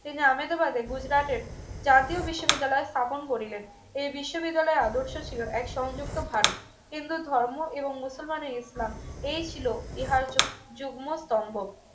এজন্য আমেদাবাদের গুজরাটের জাতীয় বিশ্ববিদ্যালয় স্থাপন করিলেন এই বিশ্ববিদ্যালয়ে আদর্শ ছিল এক সংযুক্ত ভারত হিন্দু ধর্ম এবং মুসলমানের ইসলাম এই ছিল ইহার যুগ যুগ্ম স্তম্ভ